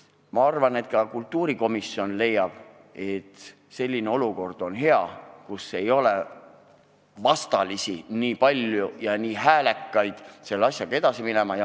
Loodetavasti ka kultuurikomisjon leiab, et hea oleks selline olukord, kus ei ole nii palju ja nii häälekaid vastalisi, ning et selle asjaga peab edasi minema.